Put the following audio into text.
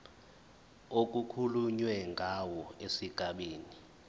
okukhulunywe ngawo esigabeni